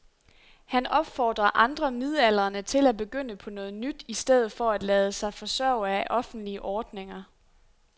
Han opfordrer andre midaldrende til at begynde på noget nyt i stedet for at lade sig forsørge af offentlige ordninger.